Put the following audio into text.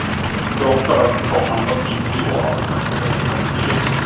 Þróttarar fá annað víti og aftur gegn gangi leiksins!